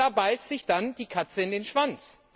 Da beißt sich dann die Katze in den Schwanz.